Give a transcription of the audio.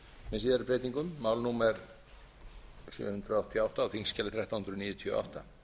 með síðari breytingum mál númer sjö hundruð áttatíu og átta á þingskjali þrettán hundruð níutíu og átta